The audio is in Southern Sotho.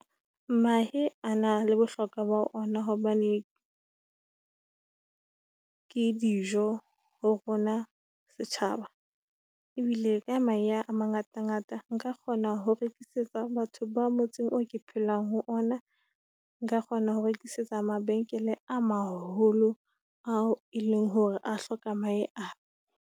Mahe a na le bohlokwa ba ho ona hobane ke dijo ho rona setjhaba. Ebile ka mahe a mangatangata nka kgona ho rekisetsa batho ba motseng oo ke phelang ho ona. Nka kgona ho rekisetsa mabenkele a maholo ao e leng hore a hloka mahe ana.